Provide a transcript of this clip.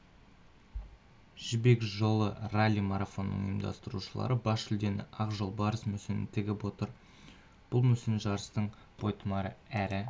жібек жолы ралли-марафонының ұйымдастырушылары бас жүлдеге ақ жолбарыс мүсінін тігіп отыр бұл мүсін жарыстың бойтұмары әрі